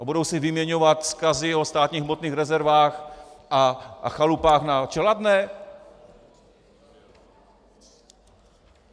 A budou si vyměňovat vzkazy o státních hmotných rezervách a chalupách na Čeladné?